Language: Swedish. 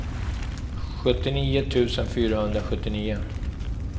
sjuttionio tusen fyrahundrasjuttionio